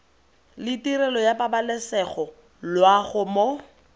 letirelo ya pabalesego loago mo